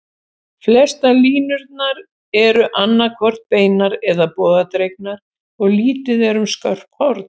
Flestar línurnar eru annað hvort beinar eða bogadregnar, og lítið er um skörp horn.